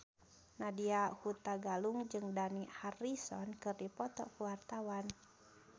Nadya Hutagalung jeung Dani Harrison keur dipoto ku wartawan